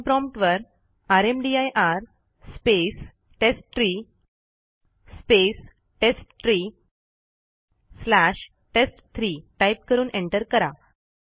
command prompt वर rmdir space test tree space test tree slash टेस्ट3 type करून एंटर करा